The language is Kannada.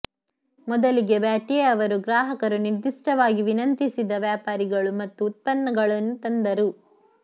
ಮೊದಲಿಗೆ ಬ್ಯಾಟ್ಯೆ ಅವರು ಗ್ರಾಹಕರು ನಿರ್ದಿಷ್ಟವಾಗಿ ವಿನಂತಿಸಿದ ವ್ಯಾಪಾರಿಗಳು ಮತ್ತು ಉತ್ಪನ್ನಗಳನ್ನು ತಂದರು